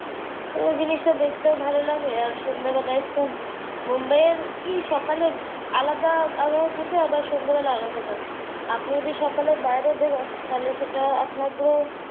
পুরো জিনিসটা দেখতেও ভালো লাগে। আর সন্ধ্যাবেলায় খুব বম্বের কি সকালের আলাদা আবহাওয়া থাকে আবার সন্ধ্যার আলাদা থাকে। আপনি যদি সকালে বাইরে বেরোন তাহলে সেটা আপনার পুরো।